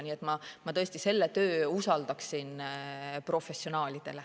Nii et ma tõesti selle töö usaldaksin professionaalidele.